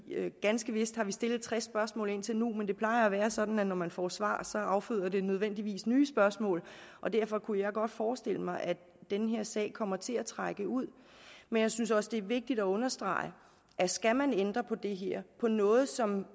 ganske vist har vi stillet tres spørgsmål indtil nu men det plejer at være sådan at når man får svar så afføder det nødvendigvis nye spørgsmål og derfor kunne jeg godt forestille mig at den her sag kommer til at trække ud men jeg synes også det er vigtigt at understrege at skal man ændre på det her på noget som